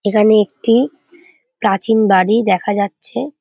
এখানে একটি প্রাচীন বাড়ি দেখা যাচ্ছে।